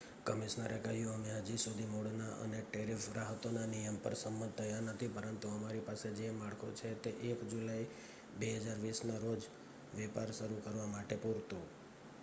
"કમિશનરે કહ્યું "અમે હજી સુધી મૂળના અને ટેરિફ રાહતોના નિયમો પર સંમત થયા નથી પરંતુ અમારી પાસે જે માળખું છે તે 1 જુલાઇ 2020 ના રોજ વેપાર શરૂ કરવા માટે પૂરતું"".